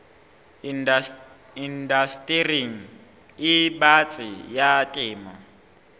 indastering e batsi ya temo